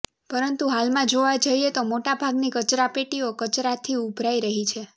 પરંતુ હાલમાં જોવા જઈએ તો મોટાભાગની કચરાપેટીઓ કચરાથી ઊભરાઈ રહી છે